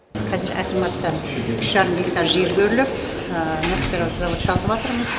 қазір акиматтан үш жарым гектар жер бөлініп мына спиральді завод салыватырмыз